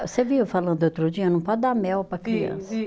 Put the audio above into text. Você viu falando outro dia, não pode dar mel para criança. Vi vi